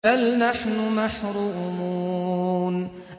بَلْ نَحْنُ مَحْرُومُونَ